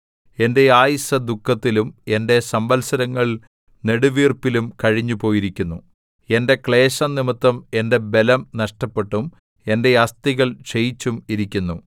എന്റെ ആയുസ്സ് ദുഃഖത്തിലും എന്റെ സംവത്സരങ്ങൾ നെടുവീർപ്പിലും കഴിഞ്ഞുപോയിരിക്കുന്നു എന്റെ ക്ലേശം നിമിത്തം എന്റെ ബലം നഷ്ടപ്പെട്ടും എന്റെ അസ്ഥികൾ ക്ഷയിച്ചും ഇരിക്കുന്നു